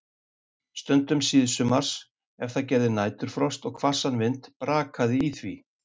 Stundum síðsumars, ef það gerði næturfrost og hvassan vind, brakaði í því.